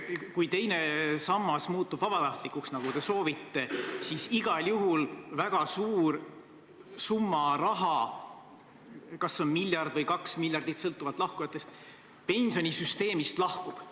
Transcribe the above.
Kui teine sammas muutub vabatahtlikuks, nagu te soovite, siis igal juhul väga suur summa raha – kas miljard või kaks miljardit, sõltuvalt lahkujate arvust – süsteemist lahkub.